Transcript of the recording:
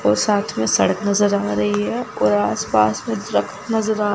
और साथ में सड़क नजर आ रही है और आसपास ट्रक नजर आ रही है।